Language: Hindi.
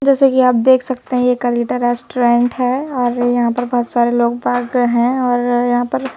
जैसे कि आप देख सकते हैं ये कलीटा रेस्टोरेंट है और यहां पर बहुत सारे लोग बाग हैं और यहां पर--